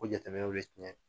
bɛ tiɲɛ